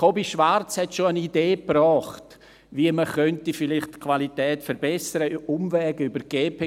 Kobi Schwarz hat schon eine Idee gebracht, wie man vielleicht die Qualität verbessern könnte, mit dem Umweg über die GPK.